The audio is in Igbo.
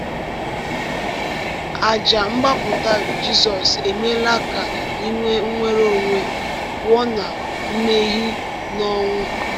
Àjà mgbapụta Jizọs emeela ka e nwee nnwere onwe pụọ ná mmehie na ọnwụ.